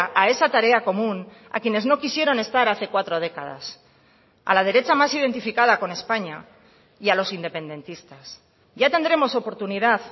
a esa tarea común a quienes no quisieron estar hace cuatro décadas a la derecha más identificada con españa y a los independentistas ya tendremos oportunidad